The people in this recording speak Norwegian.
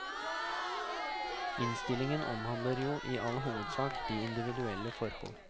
Innstillingen omhandler jo i all hovedsak de individuelle forhold.